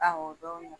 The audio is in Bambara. Awɔ o don